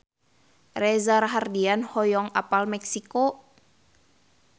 Reza Rahardian hoyong apal Meksiko